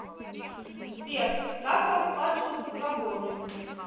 сбер как расплачиваться в габоне